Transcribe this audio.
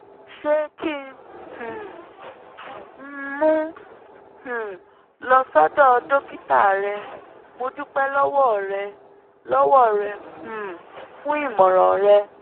ṣé kí um n mú un um lọ sọ́dọ̀ dókítà rẹ̀? mo dúpẹ́ lọ́wọ́ rẹ lọ́wọ́ rẹ um fún ìmọ̀ràn rẹ